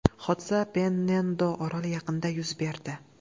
Hodisa Pennendo oroli yaqinida yuz berdi.